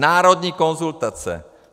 Národní konzultace.